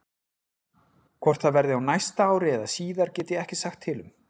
Hvort það verði á næsta ári eða síðar get ég ekki sagt til um.